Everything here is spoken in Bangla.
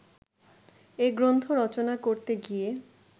এ গ্রন্থ রচনা করতে গিয়ে